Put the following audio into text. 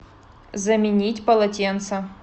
заменить полотенце